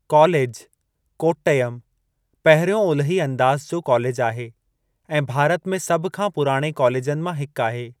College, Kottayam, पहिरियों ओलिही अंदाज़ जो कॉलेज आहे, ऐं भारत में सभ खां पुराणे कॉलेजनि मां हिकु आहे।